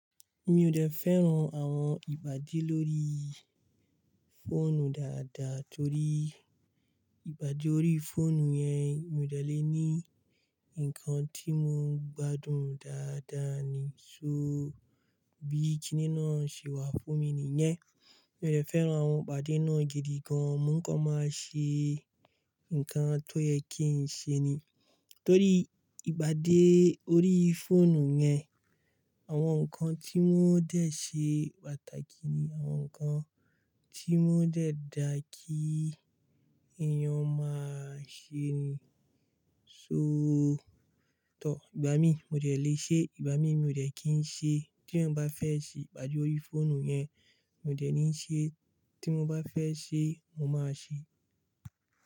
Mi ò dẹ́ fẹ́ràn àwọn ìbàdí lóríí fóònù dáadáa torí ìbàdí orí fóònù yẹn mi ò dẹ́ lè ní ǹkan tí mo ń gbádùn dáadáa ni. So bí kínní náà ṣe wà fún mi nìyẹn. Mi ò dẹ́ fẹ́ràn ibàdí náà gidi gan. Mo ń kọ máa ṣe ǹkan tó yẹ kí n ṣe ni. Torí ìpàdé orí fóònù yẹn, àwọn ǹkan tí wọ́n dẹ́ ṣe pàtàkì ni àwọn ǹkan tí wọ́n dẹ́ dá kí èèyàn máa ṣe ni. So toh ìgbà míì mo dẹ́ lè ṣe ìgbà míì mi ò dẹ́ kin ṣe tí èèyàn bá fẹ́ ṣe ìpàdé orí fóònù yẹn, mi ò dẹ́ ní ṣe, tí mo bá fẹ́ ṣe, mo máa ṣe.